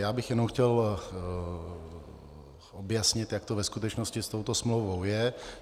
Já bych jenom chtěl objasnit, jak to ve skutečnosti s touto smlouvou je.